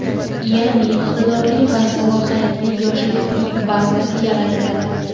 Yaʼni iqtidorli va salohiyatli yoshlarning bazasi yaratiladi.